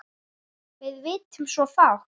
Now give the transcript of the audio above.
Við vitum svo fátt.